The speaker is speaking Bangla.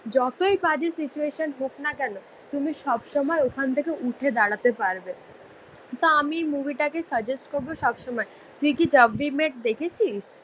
যতই পারি সিচুয়েশন হোক না কেন তুমি সবসময় ওখান থেকে উঠে দাঁড়াতে পারবে তা আমি মুভিটাকে সাজেস্ট করবো সবসময় তুই কি জ্যাব উই মিট দেখেছিস